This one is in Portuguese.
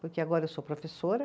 Porque agora eu sou professora.